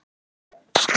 Hann heldur áfram.